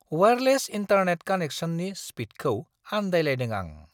Wireless internet कानेक्सननि स्पिडखौ आन्दायलायदों आं!